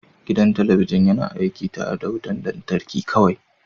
Gidan talabijin yana aiki tare da wutar lantarki kawai